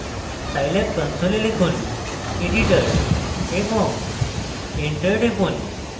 scilab console লিখুন editor এবং enter টিপুন